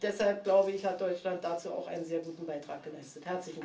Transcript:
Deshalb, glaube ich, hat Deutschland dazu auch einen sehr guten Beitrag geleistet.